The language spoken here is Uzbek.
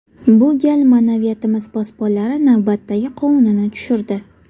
Bu gal ma’naviyatimiz posbonlari navbatdagi qovunini tushirdi.